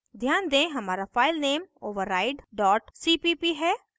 ध्यान दें हमारा file नेम override cpp है